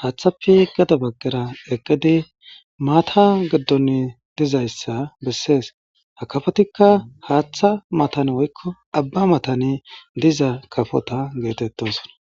haththape gatta baggara eqqidi matta gidoni dizaysa beses ha kafotika haththa matan woyko Abba matan diza kafota geetetosona